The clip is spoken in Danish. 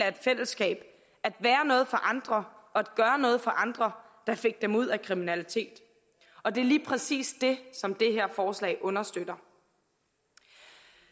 af fællesskab og være noget for andre og gøre noget for andre der fik dem ud af kriminalitet og det er lige præcis det som det her forslag understøtter